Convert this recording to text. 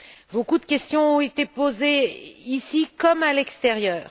Beaucoup de questions ont été posées, ici comme à l'extérieur.